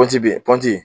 kɔnti be kɔnti ye